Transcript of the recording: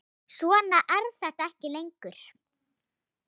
Svona er þetta ekki lengur.